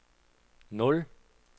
nul